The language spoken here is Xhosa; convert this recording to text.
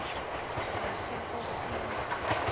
nasennkosini